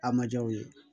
A ma ja u ye